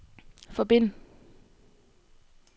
forbind